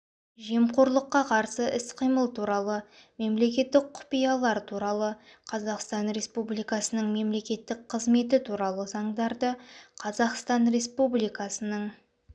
жемқорлыққа қарсы іс-қимыл туралы мемлекеттік құпиялар туралы қазақстан республикасының мемлекеттік қызметі туралы заңдарды қазақстан республикасының